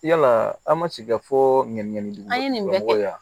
Yala aw ma sigi ka fɔ ɲininkali akoya